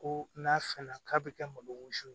Ko n'a fenna k'a bɛ kɛ malo si